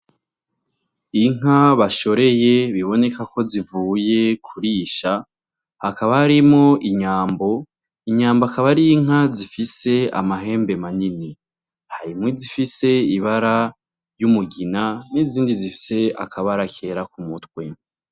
Inka bashoreye biboneka ko zivuye kurisha, hakaba harimwo inyambo, inyambo akaba ar'inka zifise amahembe manini, harimwo izifise ibara ry'umugina, n'izindi zifise akabara kera ku mutwe.